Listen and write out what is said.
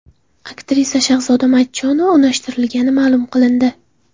Aktrisa Shahzoda Matchonova unashtirilgani ma’lum qilindi.